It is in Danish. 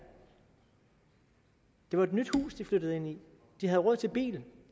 det var et nyt hus de flyttede enig i de havde råd til bil